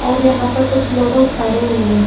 और यहाँ पे कुछ लोगो खड़े हुए है।